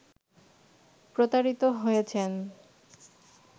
প্রতারিত হয়েছেন